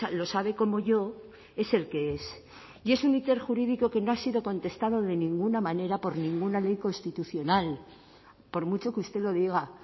lo sabe como yo es el que es y es un íter jurídico que no ha sido contestado de ninguna manera por ninguna ley constitucional por mucho que usted lo diga